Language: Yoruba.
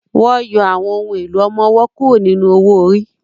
Wọ́n yọ àwọn ohùn èlò ọmọ-ọwọ́ kúrò nínú owó-orí